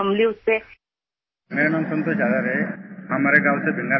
Assistance from the government helped us a lot and I could gather the strength to stand myself